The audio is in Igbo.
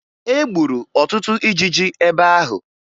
E gburu ọtụtụ ijiji ebe ahụ